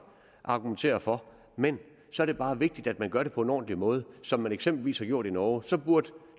argumentere for men så er det bare vigtigt at man gør det på en ordentlig måde som man eksempelvis har gjort det i norge så burde